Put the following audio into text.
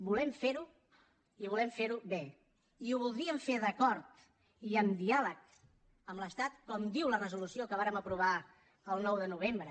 volem fer ho i volem fer ho bé i ho voldríem fer d’acord i amb diàleg amb l’estat com diu la resolució que vàrem aprovar el nou de novembre